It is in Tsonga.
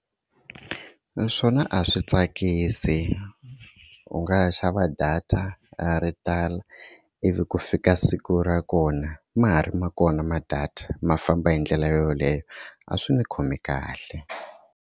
Naswona a swi tsakisi u nga xava data ro tala ivi ku fika siku ra kona ma ha ri ma kona ma-data ma famba hi ndlela yoleyo a swi ni khomi kahle.